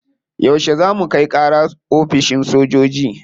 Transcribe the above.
Yauce za mu kai kara oficin sojoji?